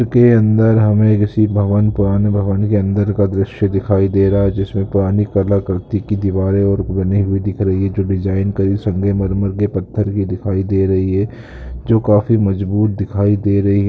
इसके अंदर हमें किसी भवन पुराने भवन के अंदर का दृश्य दिखाई दे रहा है जिसमें पुरानी कला कृति की दीवारे और बनी हुई दिख रही है जो डिज़ाइन कई संगमर की पत्थर की दिखाई दे रही है जो काफी मजबूत दिखाई दे रही है।